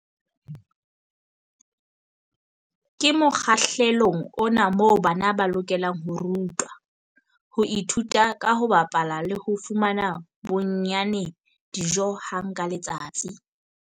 Ke mokgahlelong ona moo bana ba lokelang ho rutwa, ho ithuta ka ho bapala le ho fumana bonnyane dijo hang ka letsatsi.